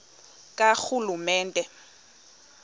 karhulumente